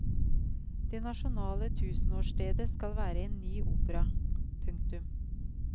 Det nasjonale tusenårsstedet skal være en ny opera. punktum